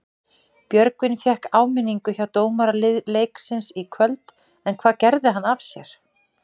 Björgvin fékk áminningu hjá dómara leiksins í kvöld, en hvað gerði hann af sér?